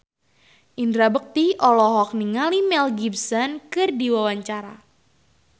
Indra Bekti olohok ningali Mel Gibson keur diwawancara